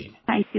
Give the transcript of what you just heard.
thank you सिर